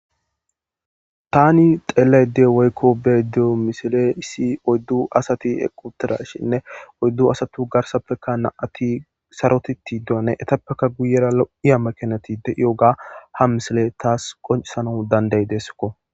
Tan xelayda diya woyko beyayda diyo misiley issi oydu asat eqid utidayshinne oydu asatu garsappeka 2 asat sarotid etappe guywra lo'iya macanat de'iyoga ha misiley tas qoncisanas dandayidesko